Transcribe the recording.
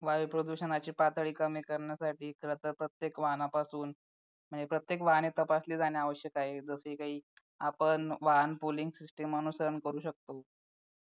वायु प्रदूषणाची पातळी कमी करण्यासाठी खरंतर प्रत्येक वाहनापासून म्हणजे प्रत्येक वाहने तपासली जाणे आवश्यक आहे जसे काही आपण वाहन poling system अनुसरु शकतो